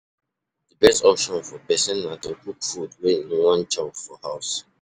Di best option for person na to cook food wey im wan chop for house